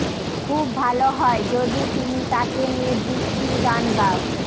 খুব ভালো হয় যদি তুমি তাকে নিয়ে বৃষ্টির গান গাও